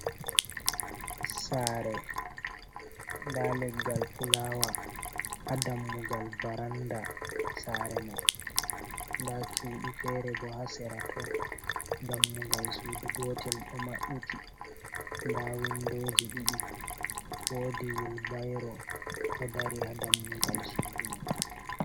Sare da leggal fulawa ha dammugal varanda sare man, da cuɗi fere bo hasera to, dammugal sudu gotel do mabɓiti da windoji ɗiɗi wodi wilbairo do dari ha dammugal sudu mai.